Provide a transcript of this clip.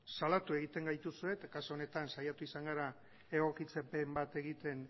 salatu egiten gaituzue eta kasu honetan saiatu izan gara egokitzapen bat egiten